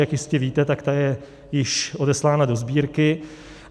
Jak jistě víte, tak ta je již odeslána do Sbírky.